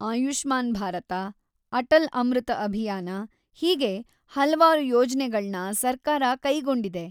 ಆಯುಷ್ಮಾನ್ ಭಾರತ, ಅಟಲ್ ಅಮೃತ ಅಭಿಯಾನ ಹೀಗೆ ಹಲ್ವಾರು ಯೋಜ್ನೆಗಳ್ನ ಸರ್ಕಾರ ಕೈಗೊಂಡಿದೆ.